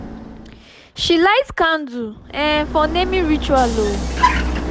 she light candle um for naming ritual.